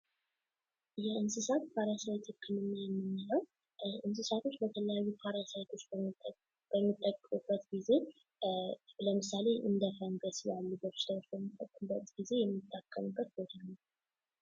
የእንሰሳት ፓራሳይት ህክምና የምንለው እንስሳቶች በተለያዩ ፓራሳይቶች በሚጠቀሙበት ጊዜ ለምሳሌ እንደ ፈንገስ ያሉ በሽታዎች በሚጠቀሙበት ጊዜ ነው።